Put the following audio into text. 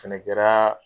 Fɛnɛ kɛra